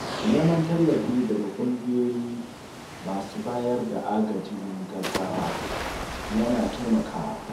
Neman tallafi daga ƙungiyoyi masu bayar da agajin gaggawa ya na taimakawa.